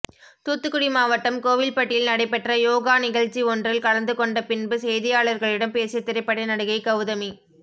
தூத்துக்குடி மாவட்டம் கோவில்பட்டியில் நடைபெற்ற யோகா நிகழ்ச்சி ஒன்றில் கலந்து கொண்ட பின்பு செய்தியாளர்களிடம் பேசிய திரைப்பட நடிகை கௌதமி